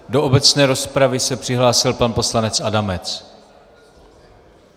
Do obecné rozpravy se přihlásil pan poslanec Adamec.